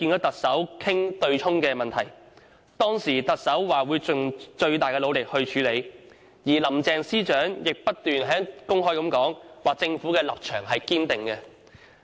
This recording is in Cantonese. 特首當時表示，會盡最大努力去處理；而林鄭司長亦公開重申政府的堅定立場。